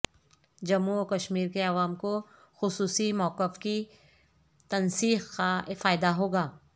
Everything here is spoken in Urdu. جموں و کشمیر کے عوام کو خصوصی موقف کی تنسیخ کا فائدہ ہوگا